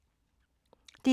DR1